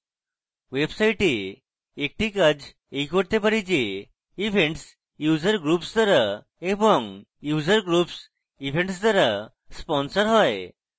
website একটি কাজ এই করতে চাই যে events user groups দ্বারা এবং user groups events দ্বারা sponsor হয়